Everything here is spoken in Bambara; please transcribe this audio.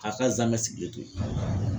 K'a ka zaamɛ sigilen to yen